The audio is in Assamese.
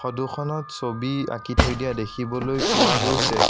ফটো খনত ছবি আঁকি থৈ দিয়া দেখিবলৈ পোৱা গৈছে।